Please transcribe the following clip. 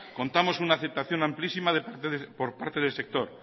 contamos con una aceptación amplísima por parte del sector